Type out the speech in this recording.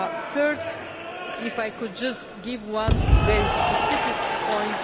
Thirdly, if I could just make one very specific point.